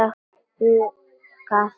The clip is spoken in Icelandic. Huggaði mig.